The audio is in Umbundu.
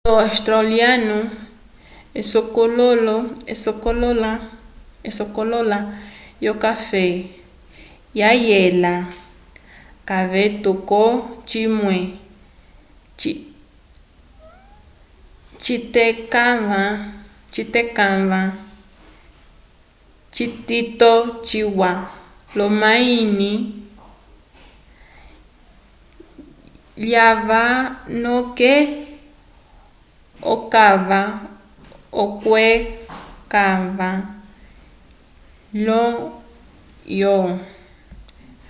olo australiano esokololo yo café ya yela kayeto kó cimwe citekava citito ciya lomahini yalwa noke ocava okweca ño oco